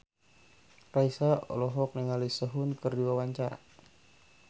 Raisa olohok ningali Sehun keur diwawancara